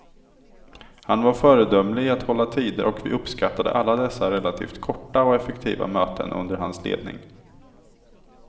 Han var föredömlig i att hålla tider och vi uppskattade alla dessa relativt korta och effektiva möten under hans ledning.